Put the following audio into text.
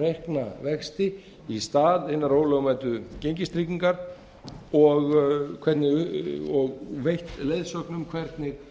reikna vexti í stað hinnar ólögmætu gengistryggingar og veitt leiðsögn um hvernig